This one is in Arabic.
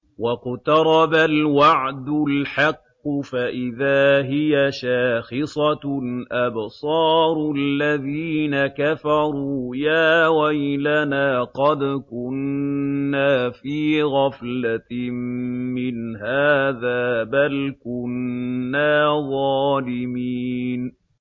وَاقْتَرَبَ الْوَعْدُ الْحَقُّ فَإِذَا هِيَ شَاخِصَةٌ أَبْصَارُ الَّذِينَ كَفَرُوا يَا وَيْلَنَا قَدْ كُنَّا فِي غَفْلَةٍ مِّنْ هَٰذَا بَلْ كُنَّا ظَالِمِينَ